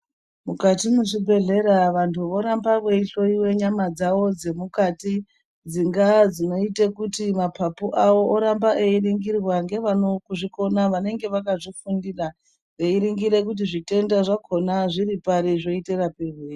Mukati mwezvibhedhlera vantu voramba veihloyiwa nyama dzavo dzemukati dzingaa dzinoita kuti maphaphu awo oramba einingirwa ngevanozvikona vakazvifundira veiningirira kuti zvitenda zvakona zviripari zvoita marapirwei.